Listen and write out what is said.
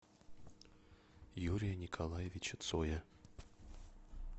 юрия николаевича цоя